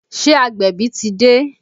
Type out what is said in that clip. Ṣé agbẹ̀bí ti dé?